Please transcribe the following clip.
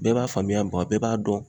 Bɛɛ b'a faamuya bɔn a bɛɛ b'a dɔn